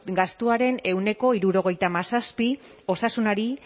gastuaren ehuneko hirurogeita hamazazpi osasunari